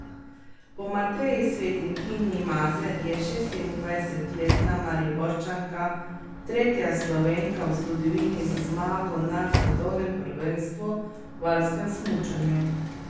Po Mateji Svet in Tini Maze je šestindvajsetletna Mariborčanka tretja Slovenka v zgodovini z zmago na svetovnem prvenstvu v alpskem smučanju.